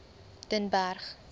den berg